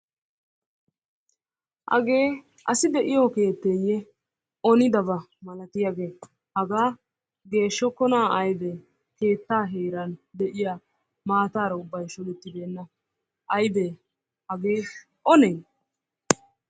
Haagee asi de'yoo keetteye onidabaa malattiyaage hagaa geshshokonna aybe, keetta heeran de'iyaa maatara ubbay shodettibenna aybe hagee one?